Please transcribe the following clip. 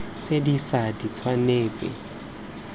tse di ša di tshwanetse